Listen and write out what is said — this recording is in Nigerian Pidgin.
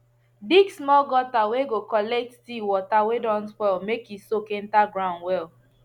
dig small gutter whey go collect tea water whey don spoil make he soak enter the ground well